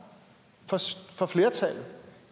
for flertallet